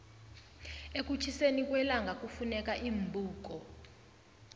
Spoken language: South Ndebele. ekutjhiseni kwellangakufuneka iimbuko